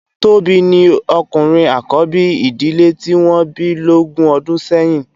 Tobi ni òkúrin ákòbi idilè ti wòn bi lógùn òdún sèyin